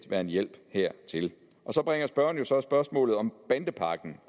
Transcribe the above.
være en hjælp hertil så bringer spørgeren jo så spørgsmålet om bandepakken